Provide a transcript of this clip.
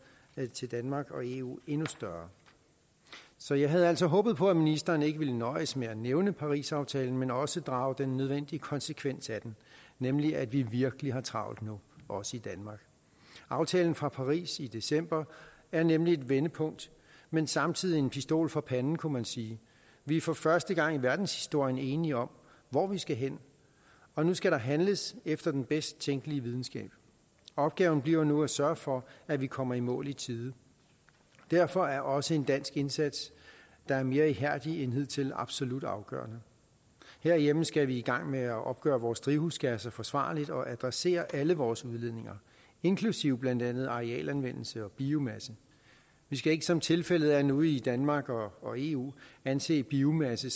til danmark og eu endnu større så jeg havde altså håbet på at ministeren ikke ville nøjes med at nævne parisaftalen men også drage den nødvendige konsekvens af den nemlig at vi virkelig har travlt nu også i danmark aftalen fra paris i december er nemlig et vendepunkt men samtidig en pistol for panden kunne man sige vi er for første gang i verdenshistorien enige om hvor vi skal hen og nu skal der handles efter den bedst tænkelige videnskab opgaven bliver nu at sørge for at vi kommer i mål i tide derfor er også en dansk indsats der er mere ihærdig end hidtil absolut afgørende herhjemme skal vi i gang med at opgøre vores drivhusgasser forsvarligt og adressere alle vores udledninger inklusive blandt andet arealanvendelse og biomasse vi skal ikke som tilfældet er nu i danmark og og eu anse biomasse